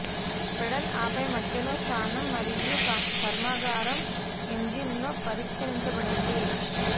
pedal ఆపై మధ్యలో స్థానం మరియు కర్మాగారం ఇంజిన్ లో పరిష్కరించబడింది